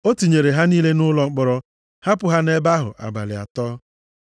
O tinyere ha niile nʼụlọ mkpọrọ, hapụ ha nʼebe ahụ abalị atọ.